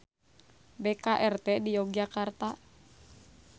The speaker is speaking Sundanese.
BKRT di Yogyakarta.